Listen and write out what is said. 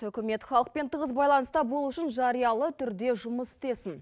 үкімет халықпен тығыз байланыста болу үшін жариялы түрде жұмыс істесін